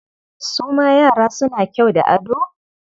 Su ma yara suna kyau da ado?